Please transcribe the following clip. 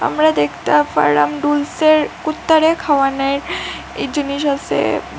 আমরা দেখতা পারলাম ডুলসের কুত্তারে খাওয়ানের ই জিনিস আসে।